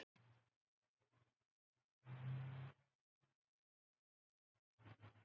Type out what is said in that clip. Ef klukkurnar hyrfu allt í einu úr lífi okkar mundi flest af þessu ruglast.